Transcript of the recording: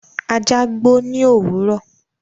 Ajá gbó ní òwúrọ̀.